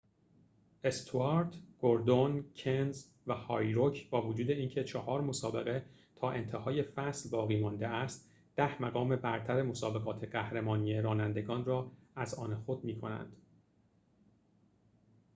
استوارت گوردون کنز و هارویک با وجود اینکه چهار مسابقه تا انتهای فصل باقی مانده است ده مقام برتر مسابقات قهرمانی رانندگان را از آن خود می کنند